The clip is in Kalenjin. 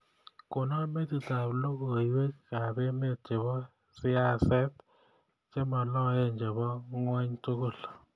Konon metitab logoywekab emet chebo siaset chemaloen chebo ngony tugul